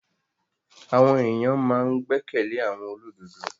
Àwọn èyàn ma n gbẹ́kẹ̀lé àwọn olódodo.